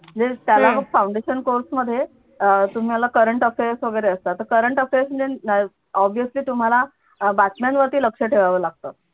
yes त्याला पण foundation course मध्ये अं तुम्हाला current affairs वगैरे असतात current affairs वगैरे obviously तुम्हाला बातम्यांवरती लक्ष ठेवावं लागत